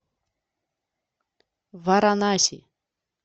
варанаси